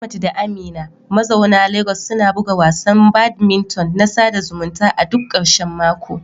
Ahmad da Amina mazauna Legas suna buga wasan badminton na sada zumunta a duk ƙarshen mako.